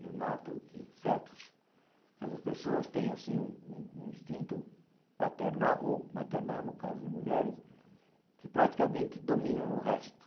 Eu noto que certos certas pessoas têm assim um um instinto paternal ou maternal, no caso de mulheres, que praticamente dominam o resto.